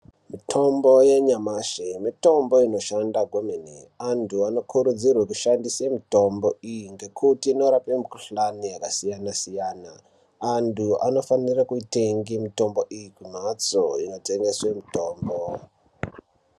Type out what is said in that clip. Mutombo yanyamashi mitombo inoshande kwemene vandu vanokurudzirwa kushandisa mutombo iyi ngekuti inorape mukuhlani yakasiya siyana andu anofanike kutenga mitombo iyi kumatso yatengeswa mutombo.